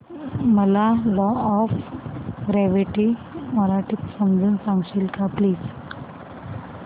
मला law of gravity मराठीत समजून सांगशील का प्लीज